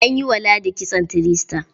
An yi wa ladi kitson three star.